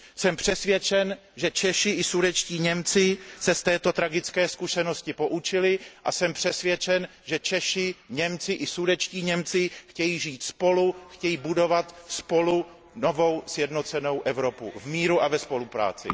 Jsem přesvědčen, že Češi i sudetští Němci se z této tragické zkušenosti poučili, a jsem přesvědčen, že Češi, Němci i sudetští Němci chtějí žít spolu, chtějí budovat spolu novou sjednocenou Evropu v míru a ve spolupráci.